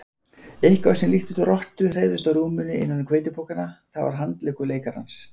Eitthvað sem líktist rottu hreyfðist á rúminu innan um hveitipokana, það var handleggur leikarans.